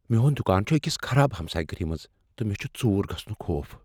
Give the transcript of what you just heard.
میٛون دکان چھ أکس خراب ہمسایہ گری منٛز تہٕ مےٚ چھٗ ژوٗر گژھنُک خوف۔